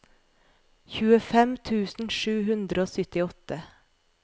tjuefem tusen sju hundre og syttiåtte